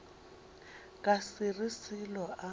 ka se re selo a